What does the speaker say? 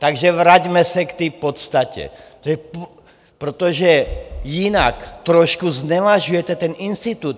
Takže vraťme se k té podstatě, protože jinak trošku znevažujete ten institut.